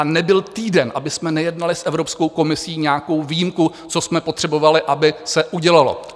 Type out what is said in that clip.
A nebyl týden, abychom nejednali s Evropskou komisí nějakou výjimku, co jsme potřebovali, aby se udělalo.